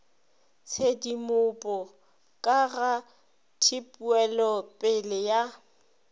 tshedimopo ka ga tpwelopele ya